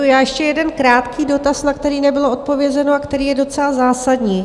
Ještě jeden krátký dotaz, na který nebylo odpovězeno a který je docela zásadní.